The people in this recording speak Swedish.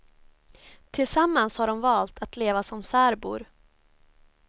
Tillsammans har de valt att leva som särbor.